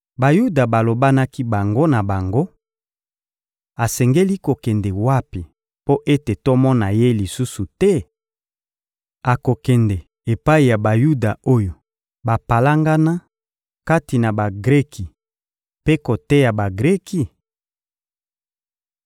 Bayuda balobanaki bango na bango: — Asengeli kokende wapi mpo ete tomona ye lisusu te? Akokende epai ya Bayuda oyo bapalangana kati na Bagreki mpe koteya Bagreki?